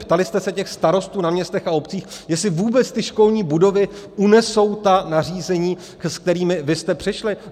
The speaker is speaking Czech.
Ptali jste se těch starostů na městech a obcích, jestli vůbec ty školní budovy unesou ta nařízení, s kterými vy jste přišli?